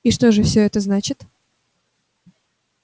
и что же всё это значит